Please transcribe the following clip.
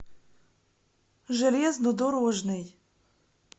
железнодорожный